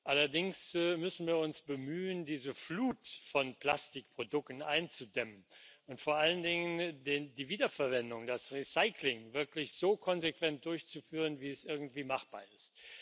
Allerdings müssen wir uns bemühen, diese Flut von Plastikprodukten einzudämmen und vor allen Dingen die Wiederverwendung und das Recycling wirklich so konsequent durchzuführen, wie es irgendwie machbar ist.